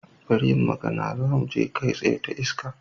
Bar yin magana, zamu je kai tsaye ta iska.